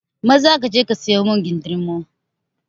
Maza kaje ka siyo min kindirmo!